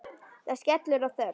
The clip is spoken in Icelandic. Það skellur á þögn.